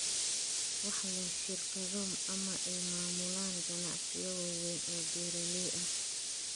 Waxa leh shirkado ama ay maamulaan ganacsiyo waaweyn oo beeraley ah.